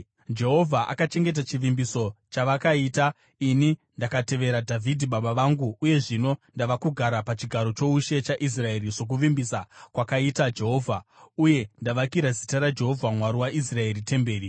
“Jehovha akachengeta chivimbiso chavakaita. Ini ndakatevera Dhavhidhi baba vangu uye zvino ndava kugara pachigaro choushe chaIsraeri sokuvimbisa kwakaita Jehovha, uye ndakavakira zita raJehovha Mwari waIsraeri temberi.